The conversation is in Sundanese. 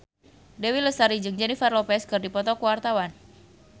Dewi Lestari jeung Jennifer Lopez keur dipoto ku wartawan